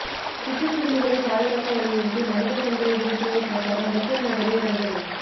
சிட்டுக்குருவிகளை பாதுகாக்க வலியுறுத்தி மனித சங்கிலி விழிப்புணர்வு பிரச்சாரம் பெசன்ட் நகரில் நடந்தது